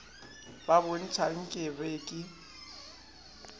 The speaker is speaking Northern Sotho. bo ntšha nka be ke